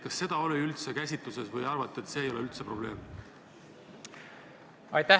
Kas see teema oli üldse käsitluse all või arvate, et see ei ole probleem?